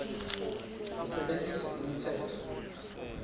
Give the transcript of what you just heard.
usebentise imitsetfo